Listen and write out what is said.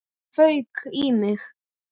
Það fauk í mig.